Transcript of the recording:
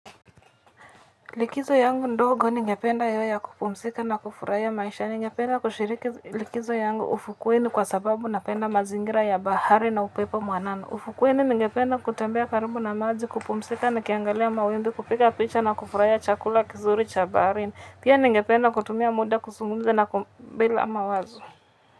Likizo yangu ndogo ningependa iwe ya kupumzika na kufurahia maisha, ningependa kushiriki likizo yangu ufukweni kwa sababu napenda mazingira ya bahari na upepo mwanana. Ufukweni ningependa kutembea karibu na maji kupumzika nikiangalia mawimbi kupiga picha na kufurahia chakula kizuri cha baharini. Pia ningependa kutumia muda kuzungumza na kum bila mawazo.